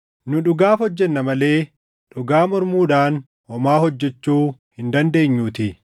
Nu dhugaaf hojjenna malee, dhugaa mormuudhaan homaa hojjechuu hin dandeenyuutii.